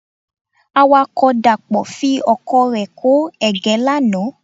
Awakọ̀ Dàpọ̀ fi ọkọ̀ rẹ kó ẹ̀gẹ́ lánàá.